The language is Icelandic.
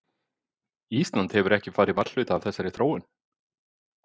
Ísland hefur ekki farið varhluta af þessari þróun?